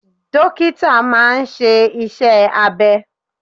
Dókítà máa ń ṣe iṣẹ́ abẹ.